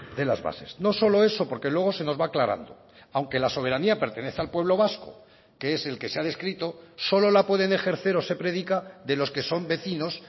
de las bases no solo eso porque luego se nos va aclarando aunque la soberanía pertenece al pueblo vasco que es el que se ha descrito solo la pueden ejercer o se predica de los que son vecinos